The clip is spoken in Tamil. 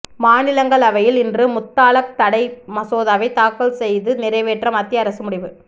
மாநிலங்களவையில் இன்று முத்தலாக் தடை மசோதாவை தாக்கல் செய்து நிறைவேற்ற மத்திய அரசு முடிவு